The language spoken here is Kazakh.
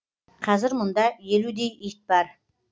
қазір мұнда елудей ит бар